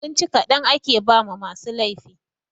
Abinci kaɗan ake ba ma masu laifi